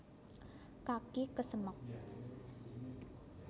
kaki kesemek